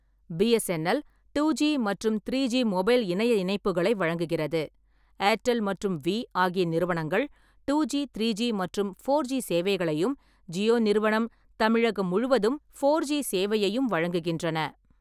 BSNL two G மற்றும் three G mobile இணைய இணைப்புகளை வழங்குகிறது; ஏர்டெல் மற்றும் வி ஆகிய நிறுவனங்கள் டூ ஜி, த்ரீ ஜி மற்றும் ஃபோர் ஜி சேவைகளையும், ஜியோ நிறுவனம் தமிழகம் முழுவதும்ஃபோர் ஜி சேவையையும் வழங்குகின்றன.